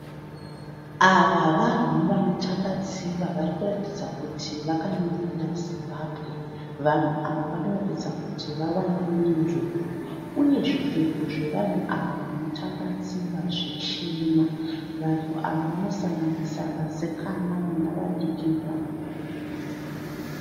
Ava vanhu vanotamba tsiva vari kuratidza kuti vakamiririra Zimbabwe, vanhu ava vanoratidza kuti vawana menduru uye zvipfeko zvevanhu ava vanotamba tsiva zvichena vanhu ava vanosanganisa vasikana vana vadiki nevanhu vakuru.